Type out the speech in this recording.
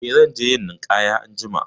Eh, zan je yin ninƙaya anjima.